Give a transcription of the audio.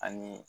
Ani